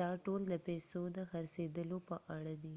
دا ټول د پیسو د څرخیدلو په اړه دی